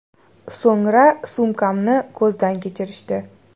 So‘ngra sumkamni ko‘zdan kechirishdi.